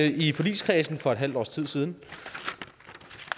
i forligskredsen for et halvt års tid siden